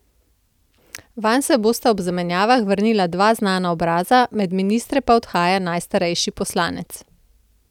Vanj se bosta ob zamenjavah vrnila dva znana obraza, med ministre pa odhaja najstarejši poslanec.